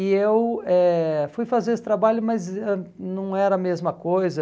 E eu eh fui fazer esse trabalho, mas ãh não era a mesma coisa.